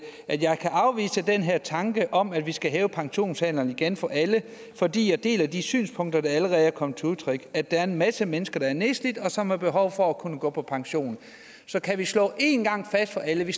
kan her tanke om at vi skal hæve pensionsalderen igen for alle fordi jeg deler de synspunkter der allerede er kommet til udtryk at der er en masse mennesker der er nedslidt og som har behov for at kunne gå på pension så kan vi slå en gang for alle at vi